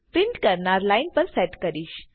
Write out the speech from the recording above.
print કરનાર line પર set કરીશ